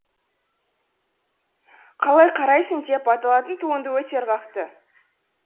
қалай қарайсың деп аталатын туынды өте ырғақты